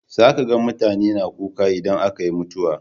Za ka ga mutane na kuka idan aka yi mutuwa.